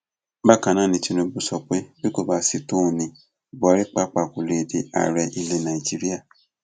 bákan náà ni tinubu sọ pé bí kò bá sì tòun ní buhari pàápàá kó lè di ààrẹ ilẹ nàíjíríà